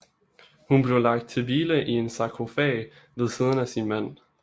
Hun blev lagt til hvile i en sarkofag ved siden af sin mand